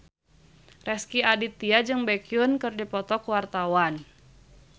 Rezky Aditya jeung Baekhyun keur dipoto ku wartawan